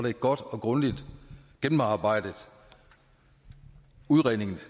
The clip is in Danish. en godt og grundigt gennemarbejdet udredning